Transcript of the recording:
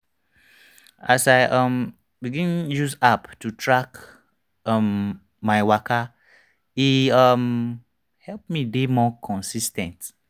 as i um begin use app to track um my waka e um help me dey more consis ten t.